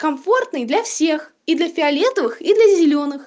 комфортный для всех и для фиолетовых и для зелёных